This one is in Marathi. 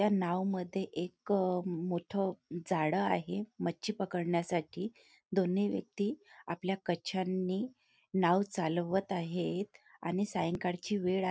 ह्या नाव मध्ये मोठ एक जाळ आहे मच्छी पकडण्यासाठी दोन्ही व्यक्ति आपल्या कच्छानी नाव चालवत आहेत आणि सायंकाळ ची वेळ आ--